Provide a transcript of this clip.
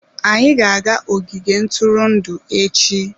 Anyị ga-aga ogige ntụrụndụ echi.